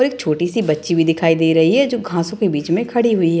और एक छोटी सी बच्ची भी दिखाई दे रही है जो घासो के बीच में खड़ी हुई है ।